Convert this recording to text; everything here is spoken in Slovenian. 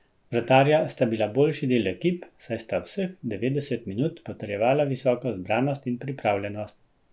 Vratarja sta bila boljši del ekip, saj sta vseh devetdeset minut potrjevala visoko zbranost in pripravljenost.